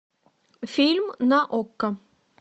фильм на окко